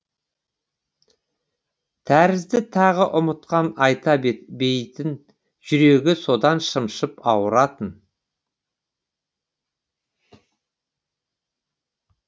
тәрізді тағы ұмытқан ата бейітін жүрегі содан шымшып ауыратын